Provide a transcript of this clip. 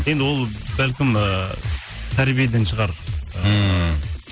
енді ол бәлкім ыыы тәрбиеден шығар ммм